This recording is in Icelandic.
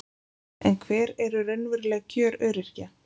En hver eru raunveruleg kjör öryrkja?